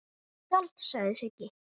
Ég skal, sagði Siggi.